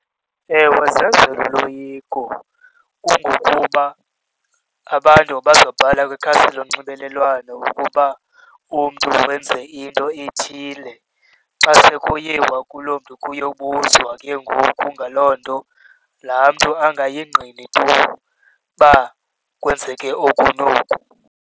Ewe zenzelwa uloyiko. Kungokuba abantu bazoqala kwikhasi lonxibelelwano ukuba umntu wenze into ethile, xa sekuyiwa kuloo mntu kuyobuzwa ke ngoku ngaloo nto, laa mntu angayingqini tu uba kwenzeke oku noku.